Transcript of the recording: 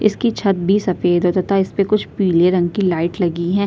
इसकी छत भी सफ़ेद है तथा इसपे कुछ पिके रंग की लाइट लगी है।